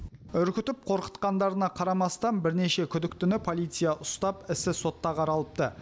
үркітіп қорқытқандарына қарамастан бірнеше күдіктіні полиция ұстап ісі сотта қаралыпты